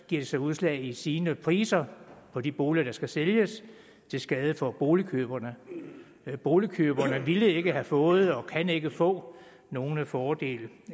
de sig udslag i stigende priser på de boliger der skal sælges til skade for boligkøberne boligkøberne ville ikke have fået og kan ikke få nogen fordel